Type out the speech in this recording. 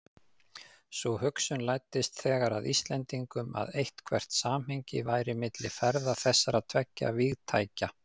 Sú hugsun læddist þegar að Íslendingum, að eitthvert samhengi væri milli ferða þessara tveggja vígtækja.